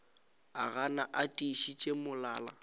o gana a tiišitše molala